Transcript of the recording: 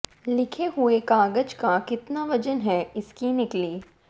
लिखे हुए कागज का कितना वजन है इसकी निकली